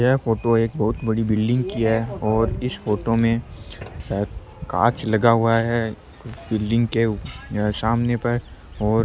यह फोटो एक बहुत बड़ी बिल्डिंग की है और इस फोटो में कांच लगा हुआ है बिल्डिंग के सामने पे और --